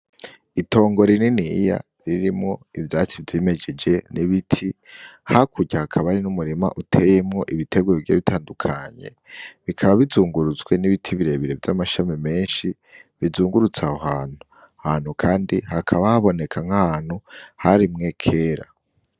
Itongo rininiya ririmwo ivyatsi vyimejeje n'ibiti, hakurya hakaba hari n'umurima uteyemwo ibiterwa bigiye bitandukanye, bikaba bizungurutse n'ibiti birebire vy'amashami menshi bizungurutse aho hantu. Aho hantu kandi hakaba haboneka nk'ahantu harimwe kera.